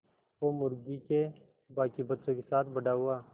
वो मुर्गी के बांकी बच्चों के साथ बड़ा हुआ